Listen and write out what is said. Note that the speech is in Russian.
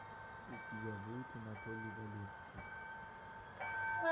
у тебя будет анатолий валевский